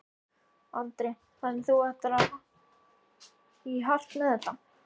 Andri: Þannig að þú ætlar í hart með þetta?